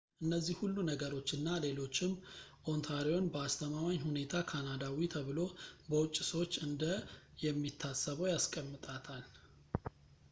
እነዚህ ሁሉ ነገሮች እና ሌሎችም ኦንታሪዮን በአስተማማኝ ሁኔታ ካናዳዊ ተብሎ በውጪ ሰዎች እንደ የሚታሰበው ያስቀምጣታል